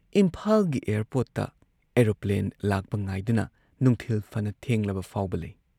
ꯏꯝꯐꯥꯜꯒꯤ ꯑꯦꯌꯥꯔꯄꯣꯔꯠꯇ ꯑꯣꯔꯣꯄ꯭ꯂꯦꯟ ꯂꯥꯛꯄ ꯉꯥꯏꯗꯨꯅ ꯅꯨꯡꯊꯤꯜ ꯐꯅ ꯊꯦꯡꯂꯕ ꯐꯥꯎꯕ ꯂꯩ ꯫